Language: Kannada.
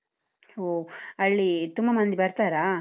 ಒಹ್, ಅಲ್ಲಿ ತುಂಬ ಮಂದಿ ಬರ್ತಾರಾ?